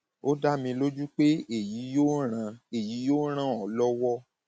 ó dá mi lójú pé èyí yóò ràn èyí yóò ràn ọ lọwọ